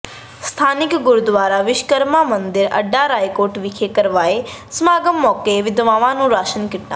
ਸਥਾਨਕ ਗੁਰਦੁਆਰਾ ਵਿਸ਼ਵਕਰਮਾ ਮੰਦਿਰ ਅੱਡਾ ਰਾਏਕੋਟ ਵਿਖੇ ਕਰਵਾਏ ਸਮਾਗਮ ਮੌਕੇ ਵਿਧਵਾਵਾਂ ਨੂੰ ਰਾਸ਼ਨ ਕਿੱਟਾਂ